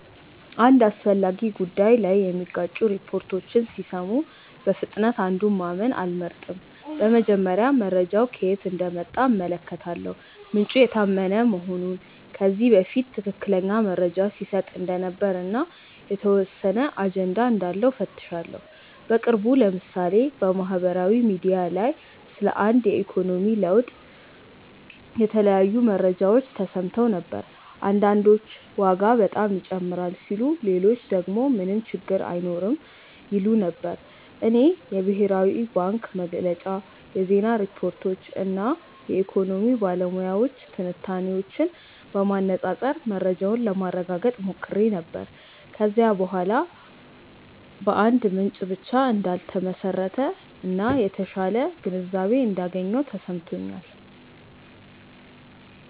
አንድ አስፈላጊ ጉዳይ ላይ የሚጋጩ ሪፖርቶችን ሲሰሙ በፍጥነት አንዱን ማመን አልመርጥም። በመጀመሪያ መረጃው ከየት እንደመጣ እመለከታለሁ፤ ምንጩ የታመነ መሆኑን፣ ከዚህ በፊት ትክክለኛ መረጃ ሲሰጥ እንደነበር እና የተወሰነ አጀንዳ እንዳለው እፈትሻለሁ። በቅርቡ ለምሳሌ በማህበራዊ ሚዲያ ላይ ስለ አንድ የኢኮኖሚ ለውጥ የተለያዩ መረጃዎች ተሰምተው ነበር። አንዳንዶች ዋጋ በጣም ይጨምራል ሲሉ ሌሎች ደግሞ ምንም ችግር አይኖርም ይሉ ነበር። እኔ የብሔራዊ ባንክ መግለጫ፣ የዜና ሪፖርቶች እና የኢኮኖሚ ባለሙያዎች ትንታኔዎችን በማነፃፀር መረጃውን ለማረጋገጥ ሞክሬ ነበር። ከዚያ በኋላ በአንድ ምንጭ ብቻ እንዳልተመሰረተ እና የተሻለ ግንዛቤ እንዳገኘሁ ተሰምቶኛል።